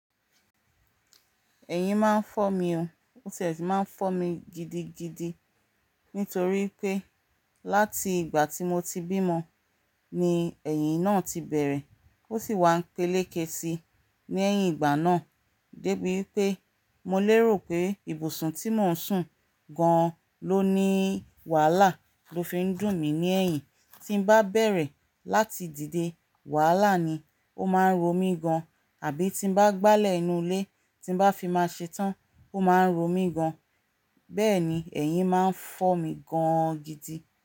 Ẹ̀yìn máa ń fọ́ mi o, ó sì máa ń fọ́ mi gidigidi. Nítorí pé láti ìgbà tí mo ti bímọ ni ẹ̀yìn náà ti bẹ̀rẹ̀, ó sì wá ń pẹ́lẹ́kẹ́ síi ní leyìn ìgbà náà débi pé mo lérò pé ibùsùn tí mò ń sùn gan-an ló ní wàhálà lo fi ń dùn mí ní ẹ̀yìn. Tí n bá bẹ̀rẹ̀ láti dìde, wàhálà ni, ó máa ń ro mí gan-an. Àbí tí n bá gbálẹ̀ inú ilé, tí n bá fi máa ṣe tán, ó máa ń ro mí gan-an. Bẹ́ẹ̀ ni ẹ̀yìn máa ń fọ́ mi gan-an gidi.